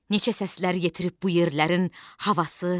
Neçə səslər yetirib bu yerlərin havası.